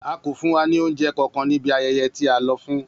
A ko fun wa ni ounjẹ kankan ni ibi ayẹyẹ ti a lọ fun.